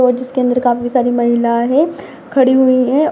और जिसके अंदर काफी सारी महिलायें हैं खड़ी हुई हैं |